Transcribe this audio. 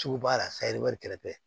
Sugu b'a la kɛrɛfɛ